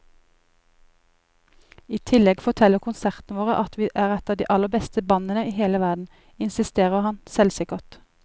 I tillegg forteller konsertene våre at vi er et av de aller beste bandene i hele verden, insisterer han selvsikkert.